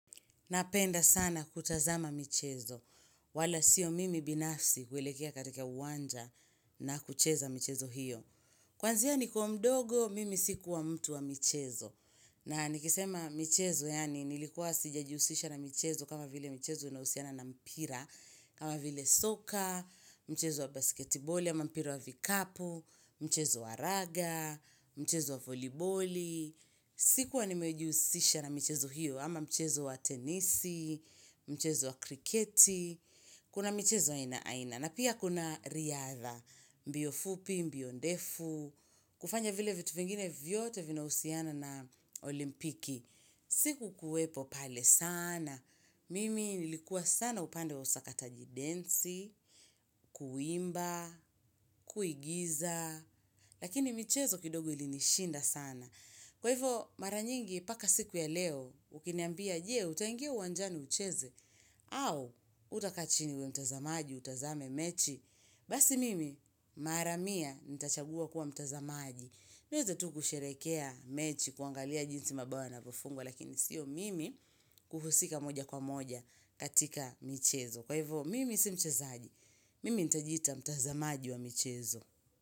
Napenda sana kutazama michezo, wala sio mimi binafsi kuelekea katika uwanja na kucheza michezo hiyo. Kwanzia ni kiwa mdogo, mimi sikuwa mtu wa michezo. Na nikisema michezo, yaani nilikuwa sijajihusisha na mchezo kama vile mchezo unaohusiana na mpira, kama vile soka, mchezo wa basketiboli, ama mpira wa vikapu, mchezo wa raga, mchezo wa voliboli. Sikuwa nimejihusisha na michezo hiyo ama michezo wa tenisi, michezo wa kriketi Kuna michezo aina aina na pia kuna riadha mbio fupi, mbio ndefu, kufanya vile vitu vingine vyote vina husiana na olimpiki siku kuwepo pale sana Mimi nilikuwa sana upande wa usakata jidensi, kuimba, kuigiza Lakini michezo kidogo ilinishinda sana Kwa hivyo, mara nyingi mpaka siku ya leo, ukinambia jee, utaingia uwanjani ucheze, au utakaachini uwe mtazamaji, utazame mechi. Basi mimi, mara mia, nita chagua kuwa mtazamaji. Naweza tu kusherekea mechi, kuangalia jinsi mabao yanavyofungwa, lakini sio mimi kuhusika moja kwa moja katika michezo. Kwa hivyo, mimi si mchezaji, mimi nita jiita mtazamaji wa michezo.